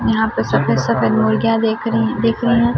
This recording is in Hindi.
यहां पे सफेद सफेद मुर्गियां देख रही दिख रही--